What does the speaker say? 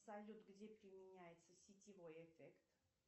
салют где применяется сетевой эффект